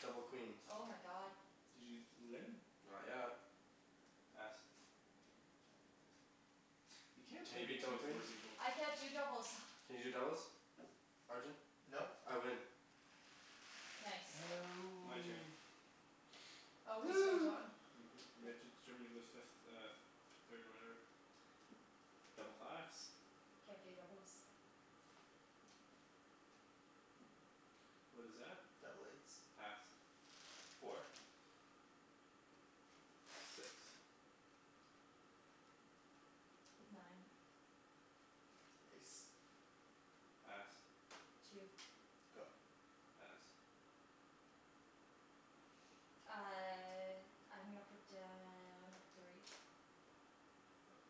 Double queens. Oh my god. Did you d- win? Not yet. Pass. You can't Can play you beat Big Two double with four queens? people. I can't do doubles. Can you do doubles? Arjan? Nope. I win. Nice. My turn. No. Oh, we're still Woo! going? Mhm. We have to determine who goes fifth, uh f- third and whatever. Double fives. Can't do doubles. What is that? Double eights. Pass. Four. Six. Nine. Ace. Pass. Two. Go. Pass. Uh I'm gonna put down a three.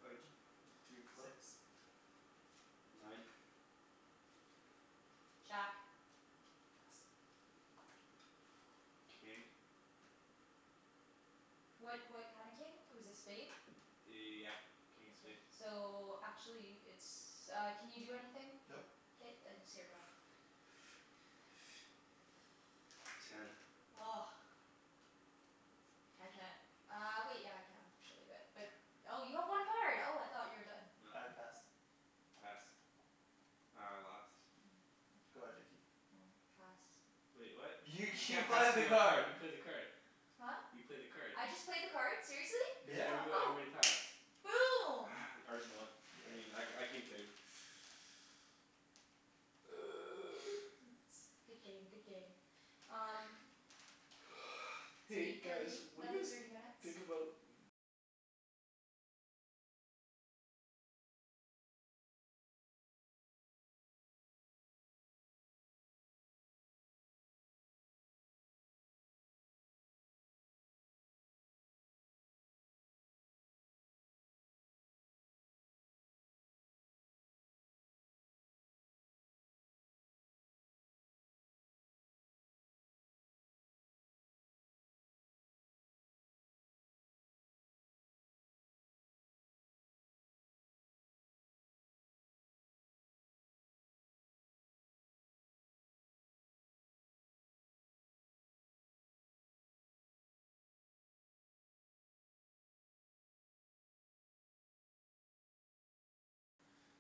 Arjan? Three of clubs? Six. Nine. Jack. Pass. King. What what kind of king? It was a spade? Yeah. King of spade. So, actually it's uh, can you do anything? Nope. K then, it's your go. Ten. I can't. Uh wait, yeah I can actually, but, but Oh you have one card. Oh I thought you were done. No. I pass. Pass. Oh, I lost. Go ahead Nikki. Hmm, pass. Wait, what? You You you can't pass played the me a new card. card, you played the card. Huh? You played the card. I just played the card? Seriously? Cuz Yeah. everybo- Oh. everybody passed. Boom! Arjan won. Yeah. I mean I, I came third. Good game, good game. Um So Hey eight guys, thirty, what do you another thirty guys minutes. think about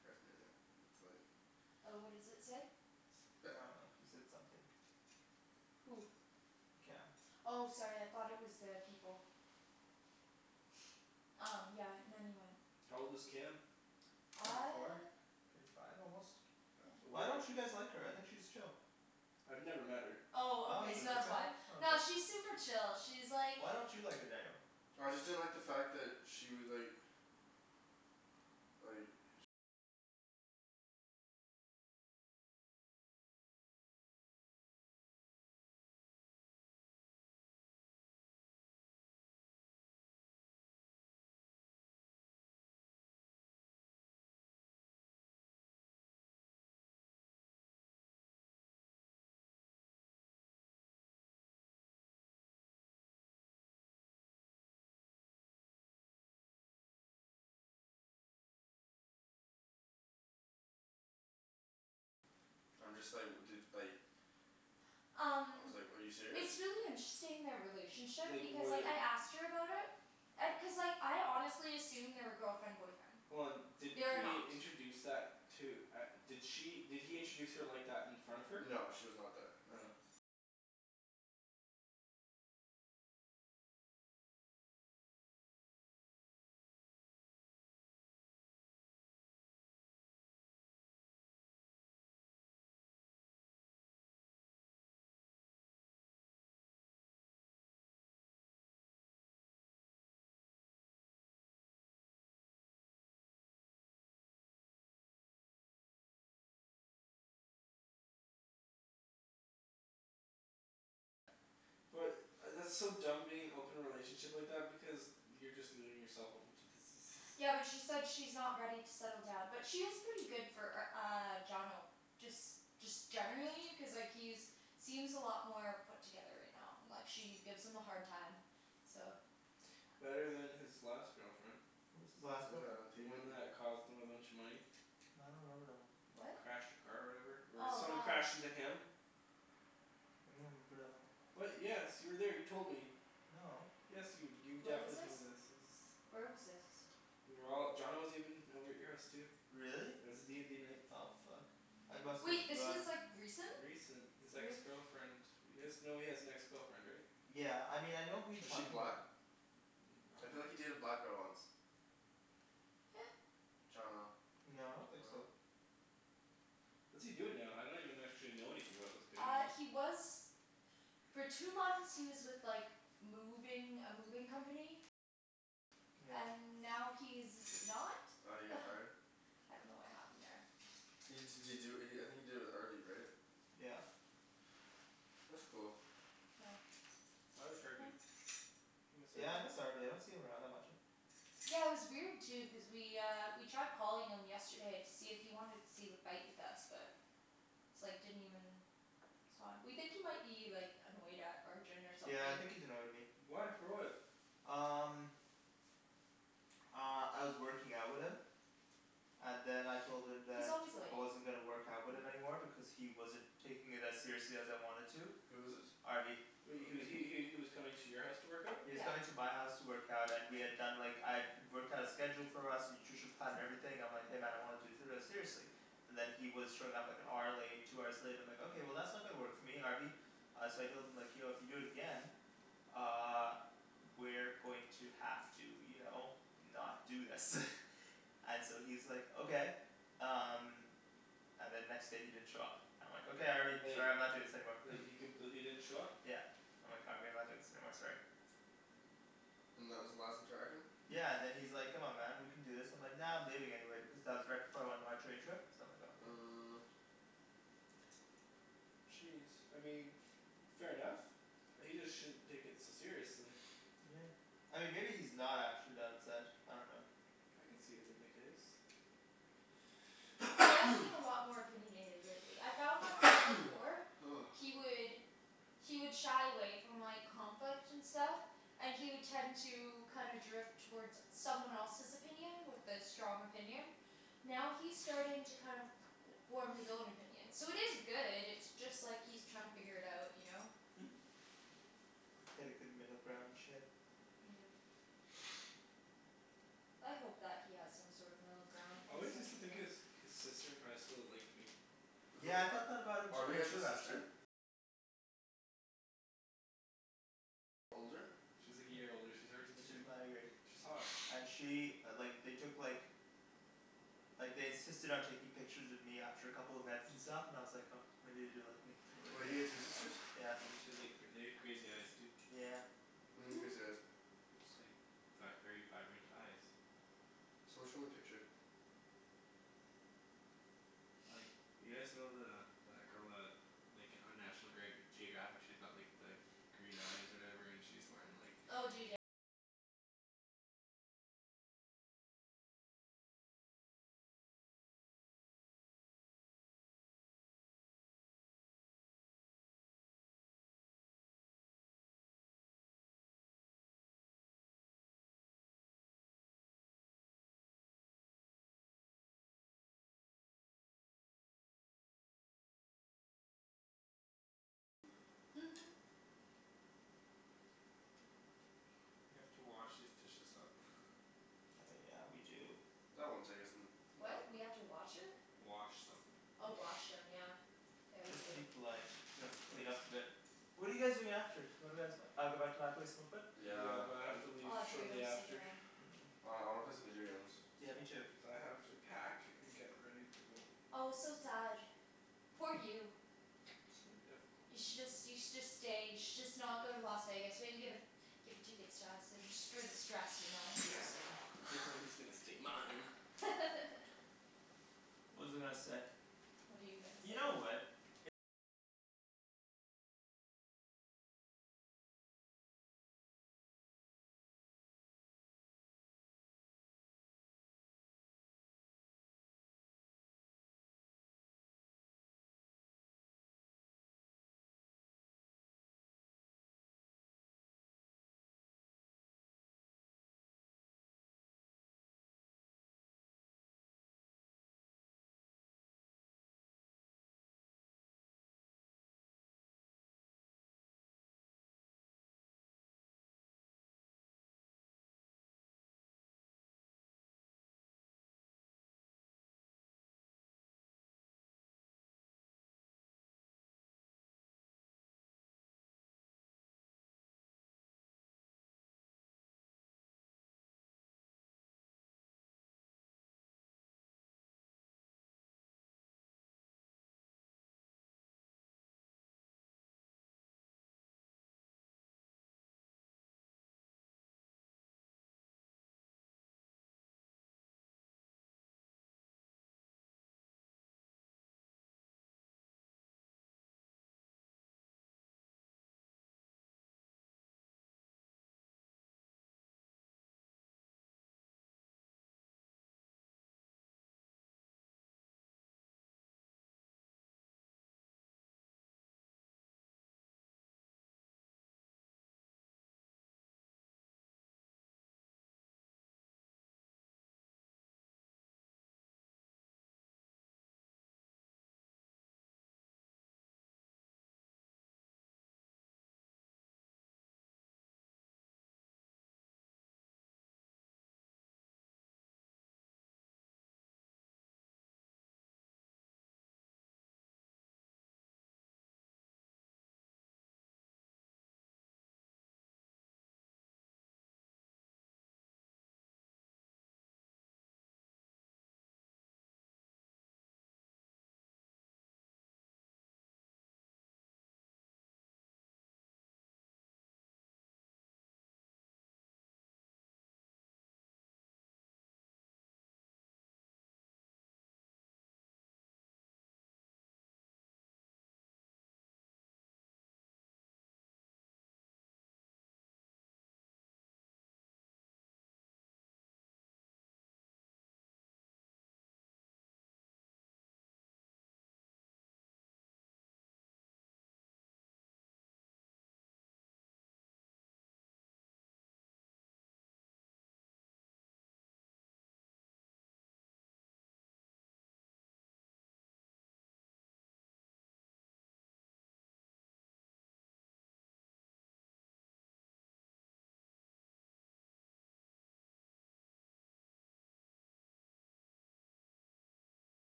paraphernalia. It's like Oh, what does it say? It's I bad. dunno. He said something. Who? Cam. Oh sorry, I thought it was uh people. Um yeah. Not even. How old is Cam? Twenty four? Uh Twenty five almost? Why Where don't you guys like her? I think she's chill. I've never met her. Oh Oh okay, you've so never that's met why. her? Oh okay. Nah, she's super chill, she's like Why don't you like her, Daniel? I just didn't like the fact that she was like like I'm just like, dude, like I Um was like, "Are you serious?" It's really interesting, their relationship, Like because like when I asked her about it and, cuz like I honestly assumed they were girlfriend boyfriend. Hold on, did They are he not. introduce that, to, at, did she, did he introduce her like that in front of her? No she was not there, no. Oh. But, I that's so dumb being in an open relationship like that, because you're just leaving yourself open to diseases. Yeah, but she said she's not ready to settle down. But she is pretty good for r- uh, Johnno. Just, just generally, cuz like he's seems a lot more put together right now. And like she gives him a hard time. So Better than his last girlfriend. What was his last girlfriend? Did The he even one that cost him a bunch of money. I don't remember that one. What? Crashed her car or whatever? Or Oh someone god. crashed into him. remember that one. What? Yes, you were there, you told me. No. Yes you, you Where was definitely this? told me this, this is Where was this? We were all, Johnno was even over at your house too. Really? It was a d and d night. Oh fuck. I must've Wait, this was forgotten. like, recent? Recent? This ex girlfriend You guys know he has an ex girlfriend, right? Yeah. I mean, I know who you Is she talking black? 'bout. Mm, I I feel like he dunno. dated a black girl once. Yeah. Johnno. No, I don't think so. What's he doing now? I don't even actually know anything about this kid Uh, anymore. he was for two months, he was with like moving, a moving company. Yeah. And now he's not. Oh, he got fired? I dunno what happened there. He d- did he do it, I think he did it with Harvey right? Yeah. That's cool. I like Harvey. I miss Yeah I miss Harvey. Harvey, I don't see him around that much. Yeah, it was weird too, cuz we uh, we tried calling him yesterday to see if he wanted to see the fight with us, but it's like, didn't even respond. We think he might be like, annoyed at Arjan or something. Yeah I think he's annoyed at me. Why? For what? Um Uh, I was working out with him. And then I told him He's that always late. I wasn't gonna work out with him anymore because he wasn't taking it as seriously as I wanted to. Who is this? Harvey. He was he he he was coming to your house to work out? He was Yeah. coming to my house to work out and we had done like, I had worked out a schedule for us, nutrition plan, and everything, I'm like "Hey man, I want to do seriously." And then he was showing up like an hour late, two hours late, and I'm like "Okay, that's not gonna work for me, Harvey." Uh so I told him like "Yo, if you do it again uh we're going to have to, you know, not do this. And so he's like "Okay." Um And then next day he didn't show up. I'm like "Okay Harvey, Like sorry I'm not doing this anymore." He completely didn't show up? Yeah. I'm like "Harvey, I'm not doing this anymore, sorry." And that was the last interaction? Yeah and then he's like "Come on man, we can do this." And I'm like "Nah, I'm leaving anyway," because that was right before I went on my train trip. So I'm like "Oh okay." Uh Jeez, I mean fair enough. He just shouldn't take it so seriously. Yeah. I mean maybe he's not actually that upset, I dunno. I could see it being the case. He does seem a lot more opinionated lately. I found like way before he would he would shy away from like, conflict and stuff. And he would tend to kind of drift toward someone else's opinion, with a strong opinion. Now he's starting to kind of form his own opinion. So it is good, it's just like he's trying to figure it out, you know? Hit a good middle ground and shit. Yeah. I hope that he has some sort of middle ground, I cuz always like, used to think yeah his, his sister in high school liked me. Who, Yeah I thought Ar- that about him Harvey t- has a too sister? actually. She's like a year older. She's Arjan's She's grade. my grade. She's hot. And she like, they took like like they insisted on taking pictures of me after a couple events and stuff, and I was like, oh maybe they do like me Wait, he had two sisters? Yeah. And then she had like, they had crazy eyes too. Yeah. What do you mean crazy eyes? They're just like vi- very vibrant eyes. Someone show me a picture. Like, you guys know the, that girl that like, on National Greg- Geographic she's got like the green eyes or whatever? And she's wearing like We have to wash these dishes up. Oh yeah, we do. That won't take us n- no- What? We have to watch it? Wash them. Oh wash them, yeah. Yeah, we Just do. to be polite. We have Of to clean course. up a bit. What are you guys doing after? What are guys, uh go back to my place, smoke a bit? Yeah, Yeah, but I have I'm to leave Oh dude, shortly I'm so after. done. Mm. Oh I wanna play some video games. Yeah, me too. Cuz I have to pack and get ready to go. Oh so sad. Poor you. It's gonna be difficult. You should just, you should just stay, you should just not go to Las Vegas, maybe give it give the tickets to us, just for the stress, you know, Yeah, cuz no. stay mine. What was I gonna say? What are you gonna You know say? what.